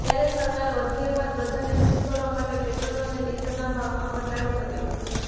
ત્યારે સરકાર વધુ એકવાર પ્રજાને ખુશ કરવા માટે પેટ્રોલ અને ડીઝલના ભાવમાં ઘટાડો કર્યો હતો